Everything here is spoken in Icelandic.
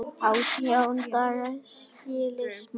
Átján daga, skilst manni.